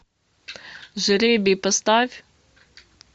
жребий поставь